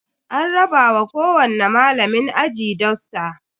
An raba wa kowani malamin aji dusta.